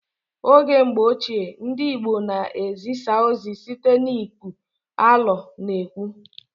Oge mgbọ ochie, ndị Igbo na ezisa ozi site n'iku alo na ekwe